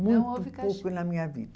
Muito pouco na minha vida.